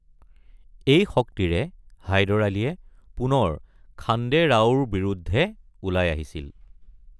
এই শক্তিৰে হায়দৰ আলীয়ে পুনৰ খাণ্ডে ৰাওৰ বিৰুদ্ধে ওলাই আহিছিল।